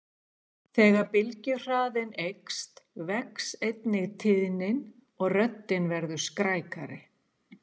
Þegar bylgjuhraðinn eykst vex einnig tíðnin og röddin verður skrækari.